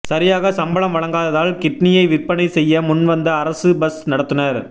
சரியாக சம்பளம் வழங்காததால் கிட்னியை விற்பனை செய்ய முன்வந்த அரசு பஸ் நடத்துனர்